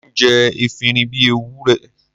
Mò ń jẹ efinrin bí Ewúrẹ́.